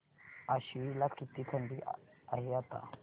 आश्वी ला किती थंडी आहे आता